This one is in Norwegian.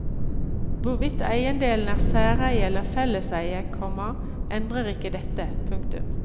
Hvorvidt eiendelen er særeie eller felleseie, komma endrer ikke dette. punktum